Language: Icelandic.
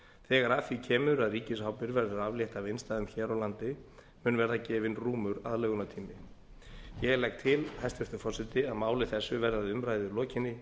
þegar að því kemur að ríkisábyrgð verður aflétt af innstæðum hér á landi mun gera gefinn rúmur aðlögunartími ég legg til hæstvirtur forseti að máli þessu verði að umræðu lokinni